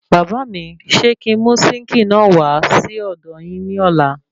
Bàbá míi ṣe kí n mú sínkìì náà wà sí ọdọ yín ní ọ̀la?